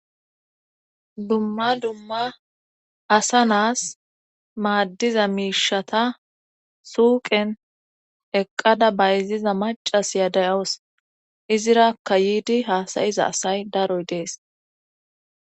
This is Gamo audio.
dumma dumma asa naas maaddiza miishata suuqen eqqada bayziza macas ya dayos izirakka yiidi haasayiza asay daroy dees